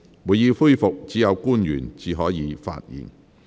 會議恢復時，只有官員才可發言。